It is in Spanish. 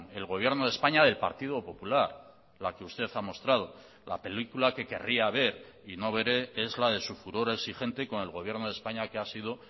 el gobierno de españa del partido popular la que usted ha mostrado la película que querría ver y no veré es la de su furor exigente con el gobierno de españa que ha sido